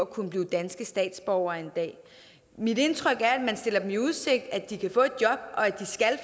kan blive danske statsborgere mit indtryk er at man stiller dem i udsigt at de kan